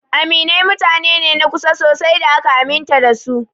Aminai mutane ne na kusa sosai da aka aminta da su.